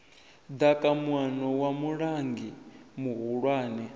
ḓaka muano wa mulanguli muhulwane